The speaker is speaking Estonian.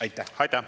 Aitäh!